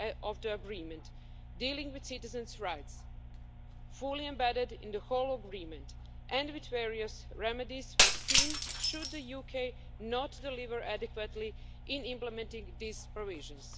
of the agreement dealing with citizens' rights fully embedded in the whole agreement and with various remedies foreseen should the UK not deliver adequately in implementing these provisions.